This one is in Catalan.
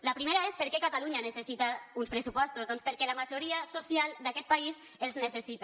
la primera és per què catalunya necessita uns pressupostos doncs perquè la majoria social d’aquest país els necessita